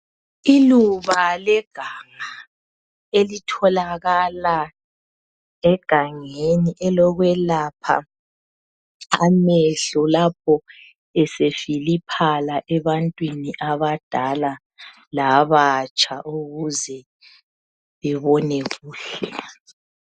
Iluba leganga elitholakala egangeni elokwelaphela amehlo lapho esefiliphala ebantwini abadala labatsha ukuze bebone kuhle.